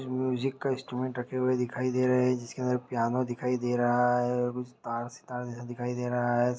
जो मुसिक के इंस्ट्रूमेंट दिखाई दे रहे हैं जिसे अंदर पियानो दिखाई दे रहा है और कुछ सितार सितार जैसा दिखाई दे रहा है।